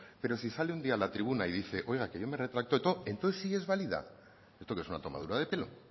pero si sale un día a la tribuna y dice oiga que yo me retracto entonces sí es válida esto qué es una tomadura de pelo